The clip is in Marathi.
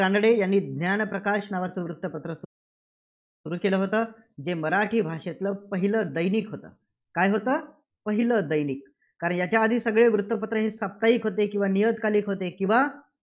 कानडे यांनी ज्ञानप्रकाश नावाचं वृत्तपत्र सुरू केलं होतं, जे मराठी भाषेतलं पहिलं दैनिक होतं. काय होतं? पहिलं दैनिक. कारण याच्या आधी सगळे वृत्तपत्र हे साप्ताहिक होते, किंवा नियतकालिक होते किंवा